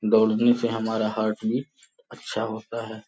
दौड़ने से हमारा हार्ट बीट अच्छा होता है।